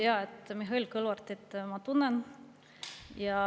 Jaa, Mihhail Kõlvartit ma tunnen.